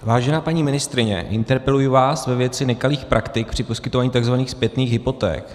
Vážená paní ministryně, interpeluji vás ve věci nekalých praktik při poskytování tzv. zpětných hypoték.